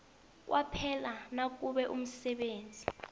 kwaphela nakube umsebenzi